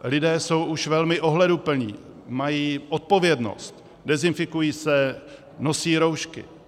Lidé jsou už velmi ohleduplní, mají odpovědnost, dezinfikují se, nosí roušky.